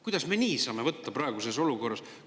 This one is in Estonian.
Kuidas me saame nii praeguses olukorras?